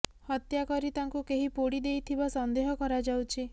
ହତ୍ୟା କରି ତାଙ୍କୁ କେହି ପୋଡି ଦେଇଥିବା ସନ୍ଦେହ କରାଯାଉଛି